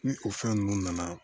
Ni o fɛn ninnu nana